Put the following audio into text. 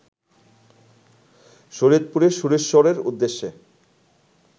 শরীয়তপুরের সুরেশ্বরের উদ্দ্যেশে